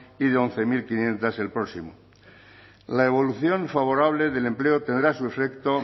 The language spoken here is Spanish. y de once mil quinientos el próximo la evolución favorable del empleo tendrá su efecto